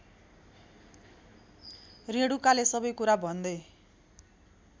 रेणुकाले सबैकुरा भन्दै